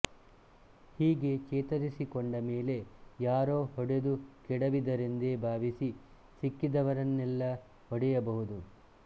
ಹೀಗೆ ಚೇತರಿಸಿಕೊಂಡಮೇಲೆ ಯಾರೋ ಹೊಡೆದು ಕೆಡವಿದರೆಂದೇ ಭಾವಿಸಿ ಸಿಕ್ಕಿದವರನ್ನೆಲ್ಲ ಹೊಡೆಯಬಹುದು